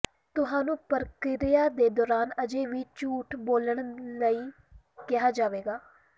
ਤੁਹਾਨੂੰ ਪ੍ਰਕਿਰਿਆ ਦੇ ਦੌਰਾਨ ਅਜੇ ਵੀ ਝੂਠ ਬੋਲਣ ਲਈ ਕਿਹਾ ਜਾਵੇਗਾ